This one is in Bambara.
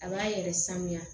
A b'a yɛrɛ sanuya